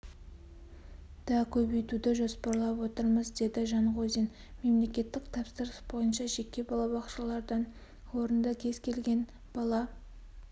да көбейтуді жоспарлап отырмыз деді жанғозин мелекеттік тапсырыс бойынша жеке балабақшалардан орынды кез келген бала